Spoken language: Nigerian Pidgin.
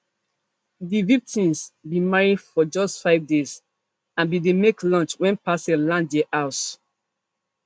di victims bin marry for just five days and bin dey make lunch wen parcel land dia house